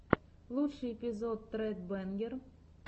лучший эпизод тред бэнгер